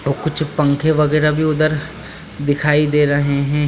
और कुछ पंखे वगेरा भी उधर दिखाई दे रहे है।